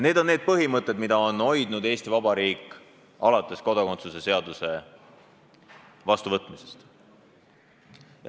Need on need põhimõtted, mida on Eesti Vabariik hoidnud alates kodakondsuse seaduse vastuvõtmisest.